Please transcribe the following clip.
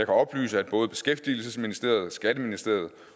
oplyse at både beskæftigelsesministeriet skatteministeriet